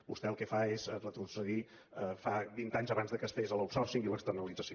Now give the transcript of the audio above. vostè el que fa és retrocedir a fa vint anys abans que es fes l’outsourcing i l’externalització